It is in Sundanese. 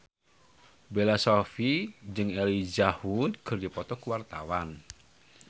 Bella Shofie jeung Elijah Wood keur dipoto ku wartawan